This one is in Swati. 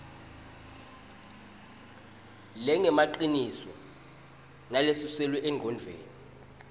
lengemaciniso nalesuselwe engcondvweni